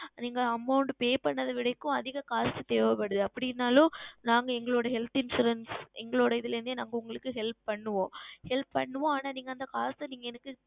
நீங்கள் Amount Pay செய்தது விட இப்பொழுது அதிகமாகா காசு தேவைப்படுகிறது அப்படி என்றாலும் நாங்கள் எங்கள் Health Insurance எங்களோட இதில் இருந்தே நாங்கள் உங்களுக்கு Help செய்வோம் Help செய்வோம் ஆனால் அந்த காசு நீங்கள் எங்களுக்கு